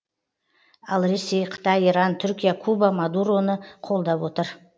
ал ресей қытай иран түркия куба мадуроны қолдап отыр